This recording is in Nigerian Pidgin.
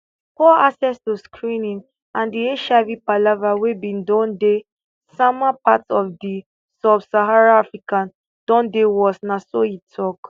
poor access to screening and di hiv palava wey bin don dey sama parts of di subsaharan africa don dey worst na so e tok